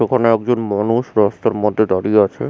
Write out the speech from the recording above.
এখানে একজন মানুষ রাস্তার মধ্যে দাঁড়িয়ে আছে ।